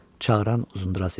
Çağıran Uzundraz idi.